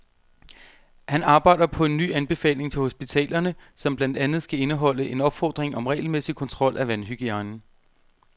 Han arbejder på en ny anbefaling til hospitalerne, som blandt andet skal indeholde en opfordring om regelmæssig kontrol af vandhygiejnen.